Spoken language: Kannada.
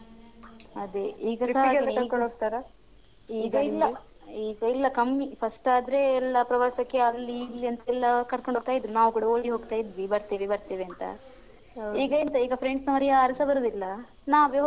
ಅದೇ ಈಗ ಸ ಹಾಗೇನೇ ಈಗ ಇಲ್ಲ ಈಗ ಇಲ್ಲ ಕಮ್ಮಿ first ಆದ್ರೆ ಎಲ್ಲ ಪ್ರವಾಸಕ್ಕೆ ಅಲ್ಲಿ ಇಲ್ಲಿ ಅಂತೆಲ್ಲ ಕರ್ಕೊಂಡ್ ಹೋಗ್ತಾ ಇದ್ರು ನಾವ್ ಕೂಡ ಓಡಿ ಹೋಗ್ತಾ ಇದ್ದ್ವಿ ಬರ್ತೇವೆ ಬರ್ತೇವೆ ಅಂತ ಈಗ ಎಂತ ಈಗ friends ನವ್ರು ಯಾರೂ ಸ ಬರುದಿಲ್ಲ ನಾವೇ ಹೋಗ್ಬೇಕು ಮಾರ್ರೆ ಸುಮ್ನೆ.